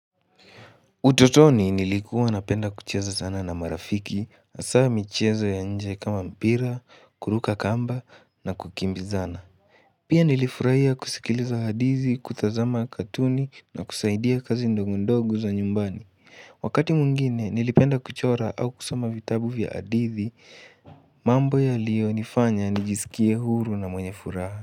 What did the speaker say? Utotoni nilikuwa napenda kucheza sana na marafiki, asa michezo ya nje kama mpira, kuruka kamba na kukimbizana. Pia nilifurahia kusikiliza hadithi, kutazama katuni na kusaidia kazi ndogondogo za nyumbani. Wakati mwngine nilipenda kuchora au kusoma vitabu vya hadithi, mambo yaliyonifanya nijisikie huru na mwenye furaha.